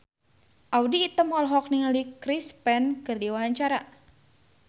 Audy Item olohok ningali Chris Pane keur diwawancara